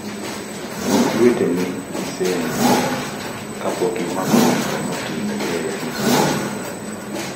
Luok lweteni gi sende kapok imako chupa motingo AIV mokuogi